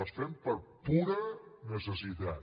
les fem per pura necessitat